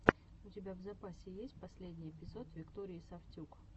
у тебя в запасе есть последний эпизод виктории сафтюк